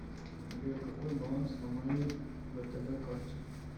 сбер какой баланс на моей втб карте